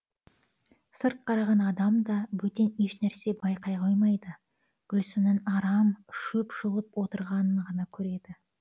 сырт қараған адам да бөтен ешнәрсе байқай қоймайды гүлсімнің арам шөп жұлып отырғанын ғана көреді